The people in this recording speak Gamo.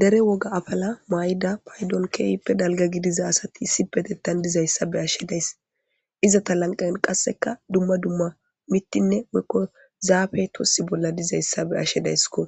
dere woga afala may7ida paydon keeyippe dalga gidiza asati sipetettan dizayssa be ashshedays izata lanqan qasseka dumma dumma mittinne weykko zaafe tossi bolla dizayssa be ashshedaysskko